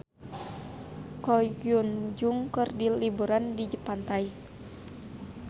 Ko Hyun Jung keur liburan di pantai